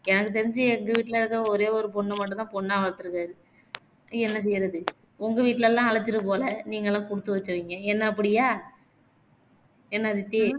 எனக்கு தெரிஞ்சு எங்க வீட்டுல எதோ ஒரே ஒரு பொண்ண மட்டும்தான் பொண்ணா வளத்திருக்காரு என்ன செய்யிறது உங்க வீட்டுலலாம் அழைச்சுட்டு போகல நீங்கலாம் குடுத்துவச்சவங்க என்ன அப்படியா என்ன அதித்தி